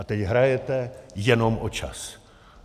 A teď hrajete jenom o čas.